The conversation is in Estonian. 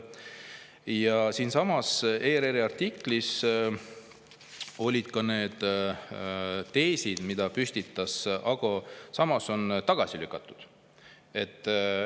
Ja ERR-i artiklis olid need teesid, mille püstitas Ago Samoson, tagasi lükatud.